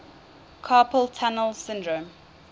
carpal tunnel syndrome